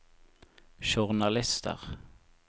journalister